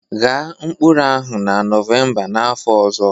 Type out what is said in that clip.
Ghaa mkpụrụ ahụ na Nọvemba n'afọ ọzọ